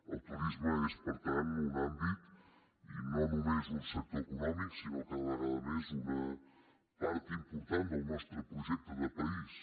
el turisme és per tant un àmbit i no només un sector econòmic sinó cada vegada més una part important del nostre projecte de país